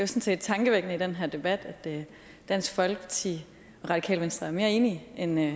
set tankevækkende i den her debat at dansk folkeparti og radikale venstre er mere enige end vi er